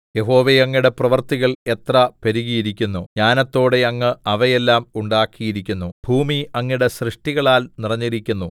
യഹോവേ അങ്ങയുടെ പ്രവൃത്തികൾ എത്ര പെരുകിയിരിക്കുന്നു ജ്ഞാനത്തോടെ അങ്ങ് അവയെല്ലാം ഉണ്ടാക്കിയിരിക്കുന്നു ഭൂമി അങ്ങയുടെ സൃഷ്ടികളാൽ നിറഞ്ഞിരിക്കുന്നു